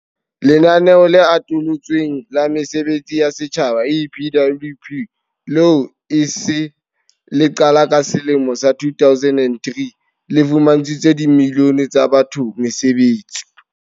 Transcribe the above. Lenaneo le Atolotsweng la Mesebetsi ya Setjhaba, EPWP, leo e sa le le qala ka selemo sa 2003, le fumantshitse dimilione tsa batho mesebetsi.